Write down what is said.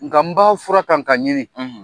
Nga n ba fura kan ka ɲini.